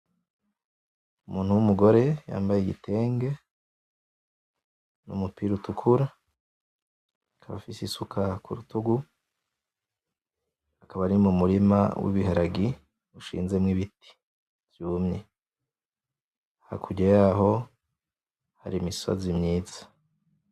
Umuntu w'umugore yambaye igitenge n'umupira utukura akaba afise isuka kurutugu akaba ari mu murima w'ibiharagi bishinzemwo ibiti vyumye hakurya yaho hari imisozi myiza.